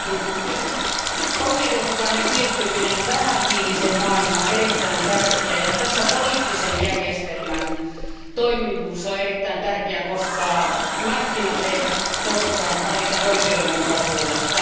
Arvoisa puhemies, oikeudenmukainen siirtyminen vähähiiliseen maailmaan on erittäin tärkeää ja poliittisen järjestelmän toimivuus on erittäin tärkeää, koska markkinat eivät koskaan välitä oikeudenmukaisuudesta.